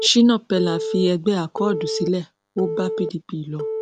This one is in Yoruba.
shina peller fi ẹgbẹ akọọdù sílẹ ó bá pdp lọ